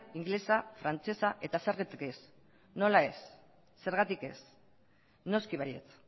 ingelesa frantsesa zergatik ez nola ez noski baietz